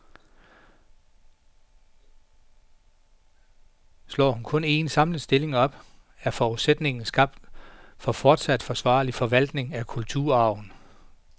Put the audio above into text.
Slår hun kun en, samlet stilling op, er forudsætningen skabt for fortsat forsvarlig forvaltning af kulturarven.